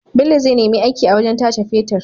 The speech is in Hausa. Bello zai nemi aiki a wajan tace fetir